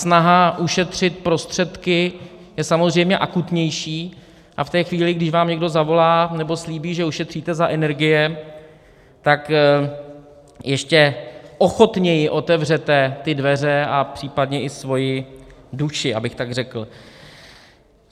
Snaha ušetřit prostředky je samozřejmě akutnější a v té chvíli, když vám někdo zavolá, nebo slíbí, že ušetříte za energie, tak ještě ochotněji otevřete ty dveře a případně i svoji duši, abych tak řekl.